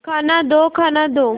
खाना दो खाना दो